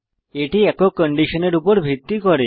এটি একক কন্ডিশনের উপর ভিত্তি করে